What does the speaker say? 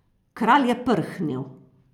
Kralj je prhnil.